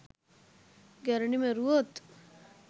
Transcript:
ගැරඬි මැරුවොත්